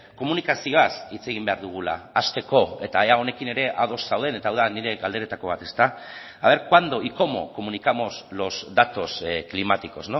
komunikazioaz hitz egin behar dugula hasteko eta ea honekin ere ados zauden eta hau da nire galderetako bat a ver cuándo y cómo comunicamos los datos climáticos